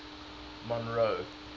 monroe